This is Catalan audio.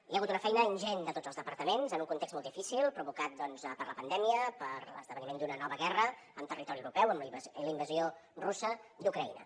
hi ha hagut una feina ingent de tots els departaments en un context molt difícil provocat doncs per la pandèmia per l’esdeveniment d’una nova guerra en territori europeu amb la invasió russa d’ucraïna